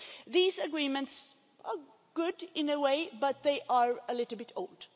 These Agreements are good in a way, but they are a little old.